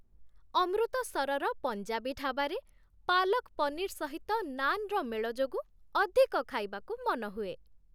ଅମୃତସରର ପଞ୍ଜାବୀ ଢାବାରେ ପାଲକ୍ ପନିର୍ ସହିତ ନାନ୍‌ର ମେଳ ଯୋଗୁଁ ଅଧିକ ଖାଇବାକୁ ମନ ହୁଏ।